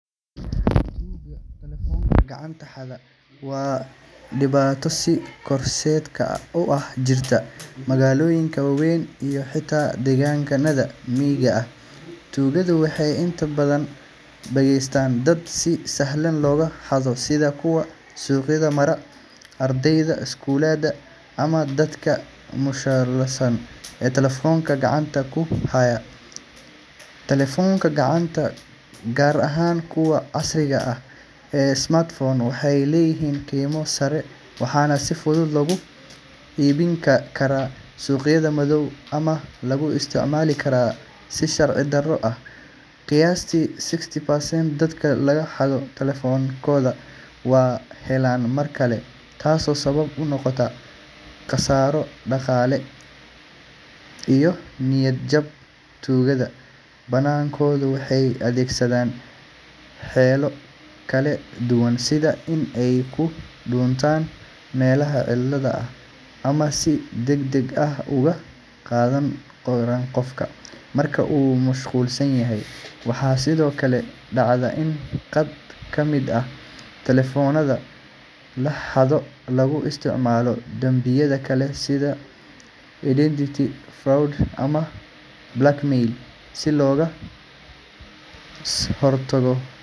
Tuugada telefoonada gacanta xada waa dhibaato sii kordheysa oo ka jirta magaalooyinka waaweyn iyo xitaa deegaanada miyiga ah. Tuugadu waxay inta badan beegsadaan dad si sahlan looga xado sida kuwa suuqyada mara, ardayda iskuulada, ama dadka mashquulsan ee telefoonkooda gacanta ku haya. Telefoonada gacanta, gaar ahaan kuwa casriga ah ee smartphones, waxay leeyihiin qiimo sare waxaana si fudud loogu iibin karaa suuqyada madow ama lagu isticmaali karaa si sharci darro ah. Qiyaastii sixty percent dadka laga xado telefoonadooda ma helaan mar kale, taasoo sabab u noqota khasaaro dhaqaale iyo niyad jab. Tuugada badankoodu waxay adeegsadaan xeelado kala duwan sida in ay ku dhuuntaan meelaha cidla ah ama ay si degdeg ah uga qaadaan qofka marka uu mashquulsan yahay. Waxaa sidoo kale dhacda in qaar ka mid ah telefoonada la xado lagu isticmaalo dembiyo kale sida identity fraud ama blackmail. Si looga hortago xatooyada.